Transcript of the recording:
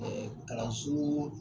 kalanso